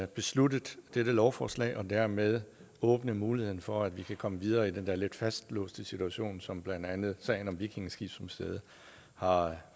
besluttet dette lovforslag og dermed åbne muligheden for at vi kan komme videre i den der lidt fastlåste situation som blandt andet sagen om vikingeskibsmuseet har